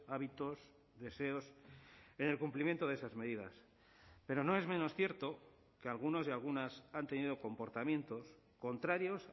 hábitos deseos en el cumplimiento de esas medidas pero no es menos cierto que algunos y algunas han tenido comportamientos contrarios